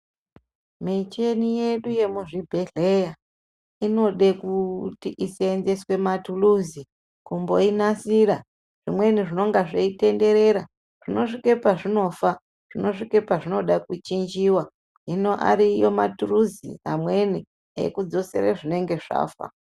Micheni yedu yemuzvibhedhlera inoda kuti ishandiswe matuluzi kumboinasira zvimweni zvinonga zveitenderera zvinosvika pazvinofa zvinosvika pazvinoda kuchinjiwa hino ariyo matuluzi mamweni ekudzosa zvinenge zvafa.